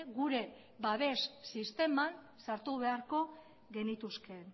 gure babes sisteman sartu beharko genituzke